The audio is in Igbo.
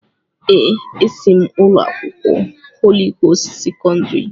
Èè, esi m ụlọ akwụkwọ Holị Gost sekọndrị.